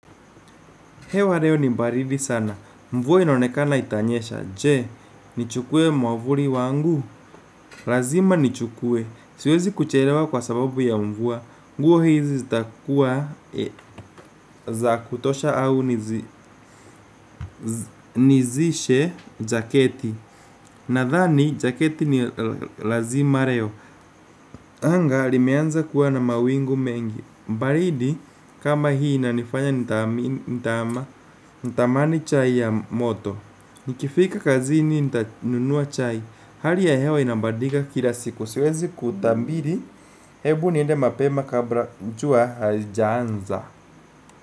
Hewa leo ni baridi sana. Mvua inaonekana itanyesha. Je, nichukue mwavuli wangu. Lazima nichukue. Siwezi kuchelewa kwa sababu ya mvua. Nguo hizi zitakuwa za kutosha au nizishe jaketi. Nadhani, jaketi ni lazima leo. Anga, limeanza kuwa na mawingu mengi. Baridi, kama hii inanifanya nitamani chai ya moto. Nikifika kazini nita nunua chai. Hali ya hewa inabadilika kila siku. Siwezi kutabiri, hebu niende mapema kabla jua halijaanza.